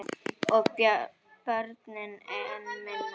Og börnin enn minna.